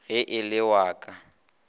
ge e le wa ka